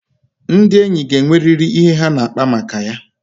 Ndị enyi ga enweriri ihe ha ga-akpa maka ya